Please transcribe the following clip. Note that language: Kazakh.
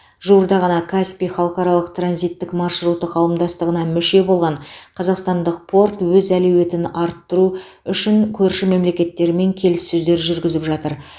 жуырда ғана каспий халықаралық транзиттік маршруты қауымдастығына мүше болған қазақстандық порт өз әлеуетін арттыру үшін көрші мемлекеттермен келіссөздер жүргізіп жатыр